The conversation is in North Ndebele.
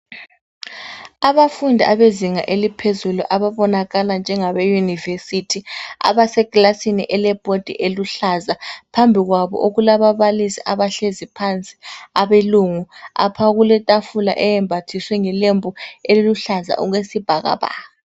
Abafundi abezinga eliphezulu ababonakala njengabeyunivesithi abasekilasini elebhodi eluhlaza, phambi kwabo okulababalisi abahlezi phansi abelungu. Apha kuletafula eyembathiswe ngelembu eliluhlaza okwesibhakabhaka.